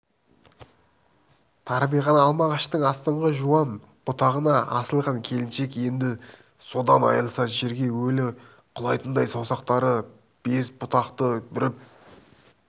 тарбиған алма ағаштың астыңғы жуан бұтағына асылған келіншек енді содан айрылса жерге өлі құлайтындай саусақтары без бұтақты бүріп